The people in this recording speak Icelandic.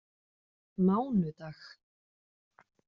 mánudag